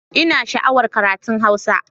Ina sha'awar karatun Hausa